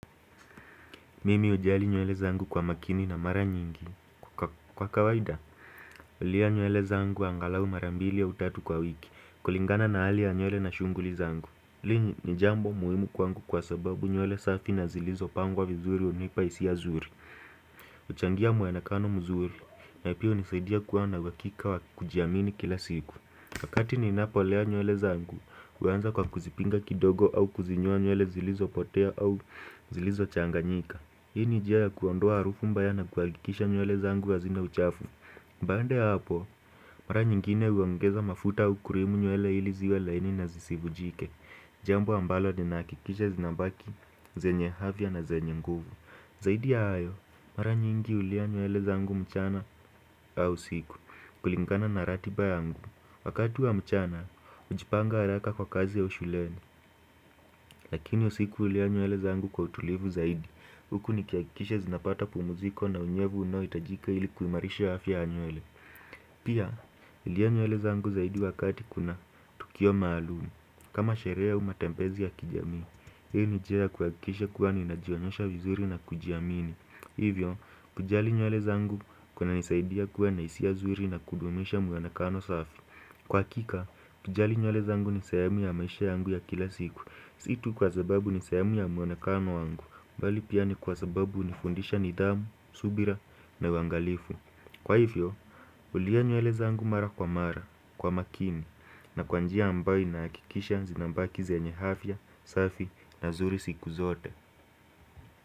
Mimi hujali nywele zangu kwa makini na mara nyingi kwa kawaida hulea nywele zangu angalau mara mbili au tatu kwa wiki kulingana na hali ya nywele na shughuli zangu hili ni jambo muhimu kwangu kwa sababu nywele safi na zilizopangwa vizuri hunipa hisia zuri huchangia muonekano mzuri na pia hunisaidia kuwa na uhakika wa kujiamini kila siku wakati ninapolea nywele zangu huanza kwa kuzipiga kidogo au kuzinyoa nywele zilizopotea au zilizochanganyika Hii ni njia ya kuondoa harufu mbaya na kuhakikisha nywele zangu hazina uchafu baada ya hapo, mara nyingine huongeza mafuta au cream nywele ili ziwe laini na zisivunjike Jambo ambalo ninahakikisha zinabaki, zenye afya na zenye nguvu Zaidi ya hayo, mara nyingi hulia nywele zangu mchana au usiku kulingana na ratiba yangu Wakati wa mchana, hujipanga haraka kwa kazi au shuleni Lakini usiku hulia nywele zangu kwa utulivu zaidi Huku nikihakikisha zinapata pumziko na unyevu unaohitajika ili kuimarisha afya ya nywele Pia, hulia nywele zangu zaidi wakati kuna tukio maalum kama sherehe au matembezi ya kijamii Hii ni nijia kuhakikisha kuwa ninajionyesha vizuri na kujiamini Hivyo, kujali nywele zangu kunanisaidia kuwa na hisia zuri na kudumisha muonekano safi Kwa hakika, kujali nywele zangu ni sehemu ya maisha yangu ya kila siku Si tu kwa sababu ni sehemu ya muonekano wangu bali pia ni kwasababu hunifundisha nidhamu, subira na uangalifu Kwa hivyo, hulia nywele zangu mara kwa mara, kwa makini na kwa njia ambayo na inahakikisha zinabaki zenye afya, safi na zuri siku zote.